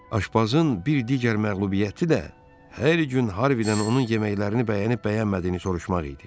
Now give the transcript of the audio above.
Aşbazın bir digər məğlubiyyəti də hər gün Harvidən onun yeməklərini bəyənib-bəyənmədiyini soruşmaq idi.